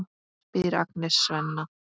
spyr Agnes Svenna.